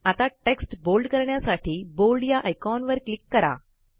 आता text bold करण्यासाठी bold या आयकॉनवर क्लिक करा